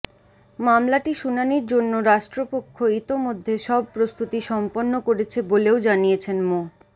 মামলাটি শুনানির জন্য রাষ্ট্রপক্ষ ইতোমধ্যে সব প্রস্তুতি সম্পন্ন করেছে বলেও জানিয়েছেন মো